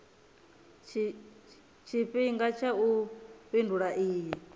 tshifhinga tsha u fhindula iyi